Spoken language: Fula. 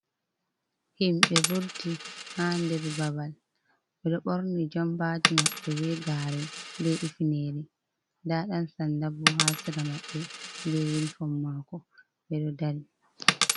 Himɓe vurti ha nder babal ɓe ɗo ɓorni jampaji maɓɓe be gare be ifinere nda ɗan sanda bo ha sira maɓɓ ɓe yenifon mako ɓe ɗo dari.